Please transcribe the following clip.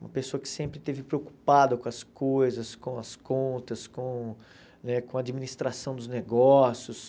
Uma pessoa que sempre esteve preocupada com as coisas, com as contas, com né com a administração dos negócios.